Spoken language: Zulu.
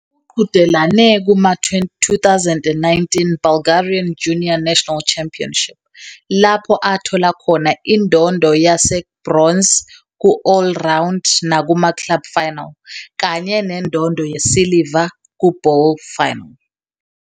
Uqhudelane kuma-2019 Bulgarian Junior National Championship lapho athola khona indondo ye-gbronze ku-All-around nakumaClub final, kanye nendondo yesiliva kuBall final.